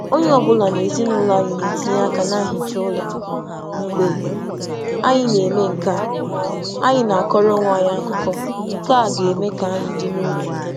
Anyị na-ehicha ụlọ ọnụ dịka ezinụlọ ka anyị na-akọ um akụkọ, nke na-eme ka anyị soro ibe um anyị kpọọ.